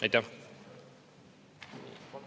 Aitäh!